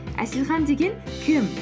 әселхан деген кім